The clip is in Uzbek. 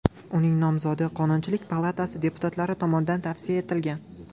Uning nomzodi Qonunchilik palatasi deputatlari tomonidan tavsiya etilgan .